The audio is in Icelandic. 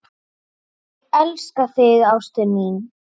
Ég elska þig ástin mín.